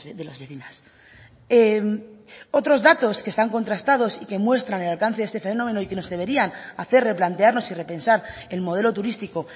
de las vecinas otros datos que están contrastados y que muestran el alcance de este fenómeno y que nos deberían hacer replantearnos y repensar el modelo turístico